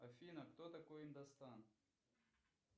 афина кто такой индостан